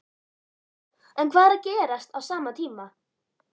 En hvað er að gerast á sama tíma?